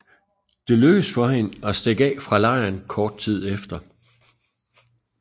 Det lykkedes for hende at stikke af fra lejren kort tid efter